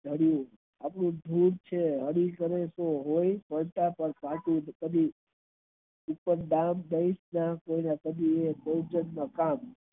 એવું છે હોય તો પડતા કદી પછી કયા